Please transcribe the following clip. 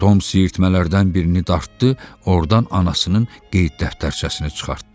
Tom siyirtmələrdən birini dartdı, ordan anasının qeyd dəftərçəsini çıxartdı.